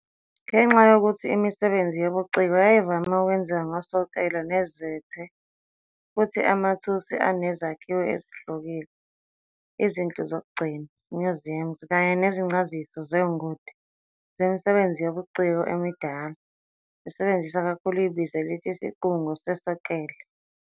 Ngenxa yokuthi imisebenzi yobuciko yayivame okwenziwa ngosoklele nezethe futhi amathusi anezakhiwo ezihlukile, izindluzokugcina "museums" kanye nezincaziso zongoti zemisebenzi yobuciko emidala, zisebenzisa kakhulu ibizo elithi "isiqungo sosoklele."